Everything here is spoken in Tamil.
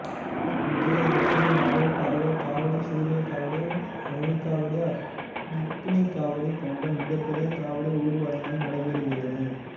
விஜயதசமி நாளில் பறவை காவடி சூர்யகாவடி மயில்காவடி அக்னிகாவடி போன்ற மிகப்பெரிய காவடி ஊர்வலங்களும் நடைபெறுகிறது